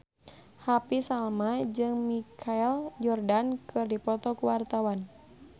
Happy Salma jeung Michael Jordan keur dipoto ku wartawan